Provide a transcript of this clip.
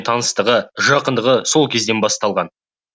таныстығы жақындығы сол кезден басталған